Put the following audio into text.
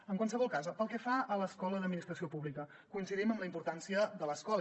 en qualsevol cas pel que fa a l’escola d’administració pública coincidim en la importància de l’escola